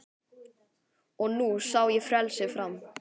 Og nú sá ég frelsið fram